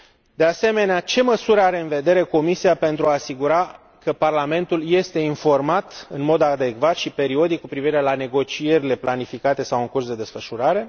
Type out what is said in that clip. De asemenea, ce măsuri are în vedere Comisia pentru a se asigura că Parlamentul este informat în mod adecvat și periodic cu privire la negocierile planificate sau în curs de desfășurare?